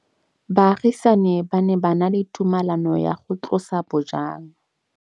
Baagisani ba ne ba na le tumalanô ya go tlosa bojang.